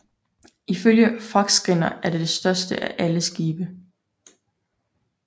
Ifølge Fagrskinna var det det største af alle skibe